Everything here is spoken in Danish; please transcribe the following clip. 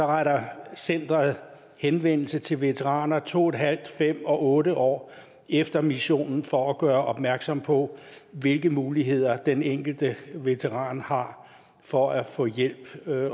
retter centeret henvendelse til veteraner to en halv fem og otte år efter missionen for at gøre opmærksom på hvilke muligheder den enkelte veteran har for at få hjælp